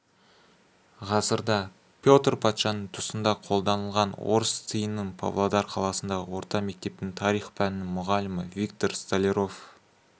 ғасырда петр патшаның тұсында қолданылған орыс тиынын павлодар қаласындағы орта мектептің тарих пәнінің мұғалімі виктор столяров